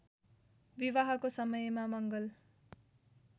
विवाहको समयमा मङ्गल